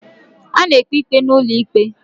A na-ekpe ikpe n'ulo ikpe